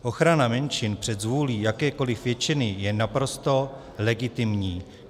Ochrana menšin před zvůlí jakékoli většiny je naprosto legitimní.